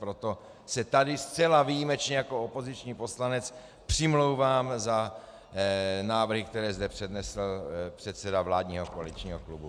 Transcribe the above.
Proto se tady zcela výjimečně jako opoziční poslanec přimlouvám za návrhy, které zde přednesl předseda vládního koaličního klubu.